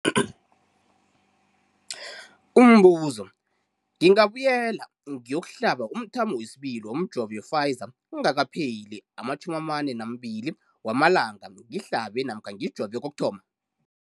Umbuzo, ngingabuyela ngiyokuhlaba umthamo wesibili womjovo we-Pfizer kungakapheli ama-42 wamalanga ngihlabe namkha ngijove kokuthoma.